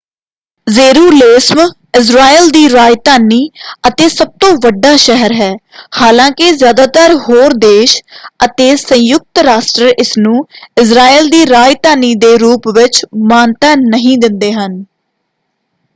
Jerusalem Israel ਦੀ ਰਾਜਧਾਨੀ ਅਤੇ ਸਭਤੋਂ ਵੱਡਾ ਸ਼ਹਿਰ ਹੈ ਹਾਲਾਂਕਿ ਜ਼ਿਆਦਾਤਰ ਹੋਰ ਦੇਸ਼ ਅਤੇ ਸੰਯੁਕਤ ਰਾਸ਼ਟਰ ਇਸਨੂੰ ਇਜ਼ਰਾਈਲ ਦੀ ਰਾਜਧਾਨੀ ਦੇ ਰੂਪ ਵਿੱਚ ਮਾਨਤਾ ਨਹੀਂ ਦਿੰਦੇ ਹਨ।